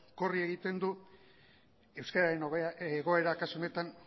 korrika egiten du euskararen egoera kasu honetan